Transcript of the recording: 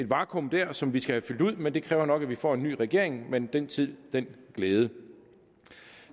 vakuum der som vi skal have fyldt ud men det kræver nok at vi får en ny regering men den tid den glæde